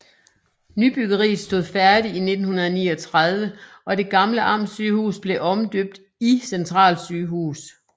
Nybyggeriet stod færdig i 1939 og det gamle Amtssygehus blev omdøbt i Centralsygehus